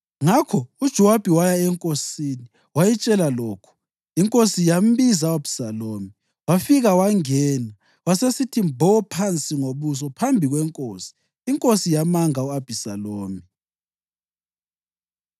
Ngakho uJowabi waya enkosini wayitshela lokhu. Inkosi yambiza u-Abhisalomu, wafika wangena wasesithi mbo phansi ngobuso phambi kwenkosi. Inkosi yamanga u-Abhisalomu.